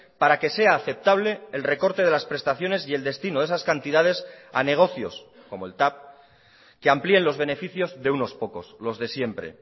para que sea aceptable el recorte de las prestaciones y el destino de esas cantidades a negocios como el tav que amplíen los beneficios de unos pocos los de siempre